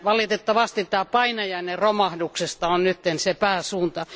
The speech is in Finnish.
Valitettavasti tämä painajainen romahduksesta on nyt pääsuunta.